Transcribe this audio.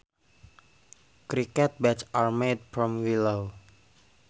Cricket bats are made from willow